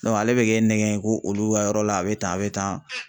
ale bɛ kɛ nɛgɛ ye ko olu ka yɔrɔ la a bɛ tan a bɛ tan.